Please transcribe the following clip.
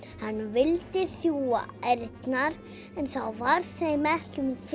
hann vildi sjúga ærnar en þá varð þeim ekki um